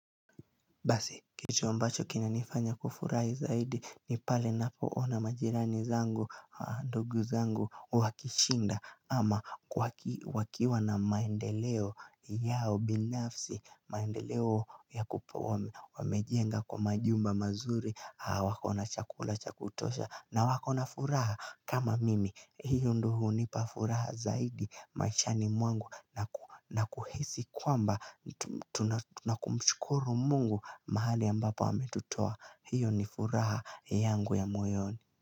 Basi, kitu ambacho kinanifanya kufurahi zaidi ni pale napoona majirani zangu, ndugu zangu, wakishinda ama wakiwa na maendeleo yao binafsi, maendeleo ya kupo wamejenga kwa majumba mazuri, hawako na chakula cha kutosha na wakona furaha kama mimi. Hiyo ndo hunipa furaha zaidi maishani mwangu na kuhisi kwamba tuna kumshukuru mungu mahali ambapo ametutoa. Hiyo ni furaha yangu ya moyoni.